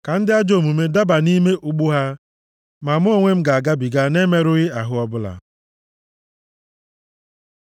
Ka ndị ajọ omume daba nʼime ụgbụ ha, ma mụ onwe m ga-agabiga na-emerụghị ahụ ọbụla.